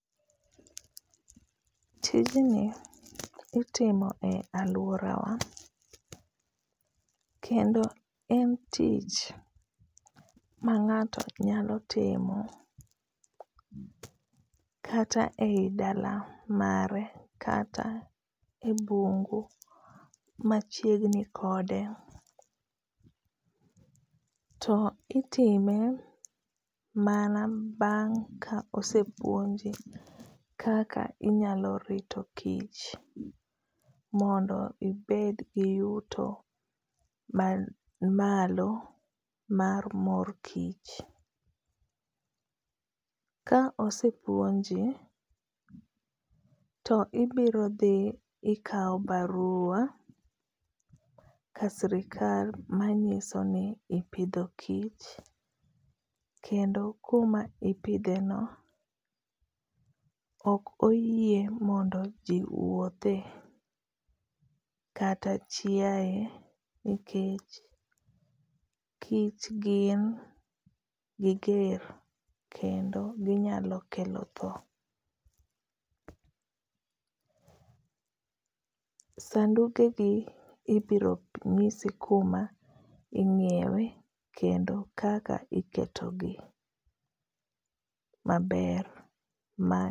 tijni itimo e aluorawa kendo en tich ma ng'ato nyalo timo kata e i dala mare kata e bungu machiegni kode, to itime mana bang' ka osepuonje kaka inyalo rito kich mondo ibed gi yuto man malo mar mor kich. ka osepuonje to ibiro dhi ikao barua ka sirkal manyiso ni ipidho kich kendo kuma ipidhe no ok oyie mondo ji wuothe kata chiae nikech kich gin giger kendo ginyalo kelo tho. Sanduge gi ibiro nyisi kuma inyiewe kendo kaka iketo gi maber ma.